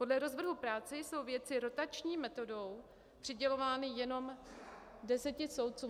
Podle rozvrhu práce jsou věci rotační metodou přidělovány jenom deseti soudcům.